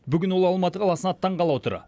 бүгін ол алматы қаласына аттанғалы отыр